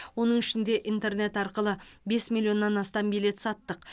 оның ішінде интернет арқылы бес миллионнан астам билет саттық